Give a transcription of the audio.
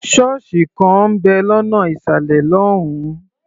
Ṣọ́ọ̀sì kan ń bẹ̀ lọ́nà ìsàlẹ̀ lọ́hùn-ún.